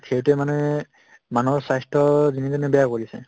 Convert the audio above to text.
সেইটোয়ে মানে মানুহৰ স্বাস্থ্য দিনে দিনে বেয়া কৰিছে